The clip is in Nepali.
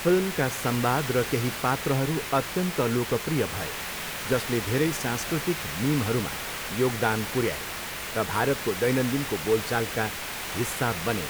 फिल्मका संवाद र केही पात्रहरू अत्यन्त लोकप्रिय भए, जसले धेरै सांस्कृतिक मिमहरूमा योगदान पुर्याए र भारतको दैनन्दिनको बोलचालका हिस्सा बने।